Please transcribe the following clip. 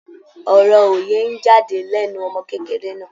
Ọ̀rọ̀ òye ń jáde lẹ́nu ọmọ kékeré náà.